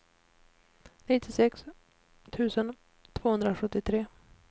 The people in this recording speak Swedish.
nittiosex tusen tvåhundrasjuttiotre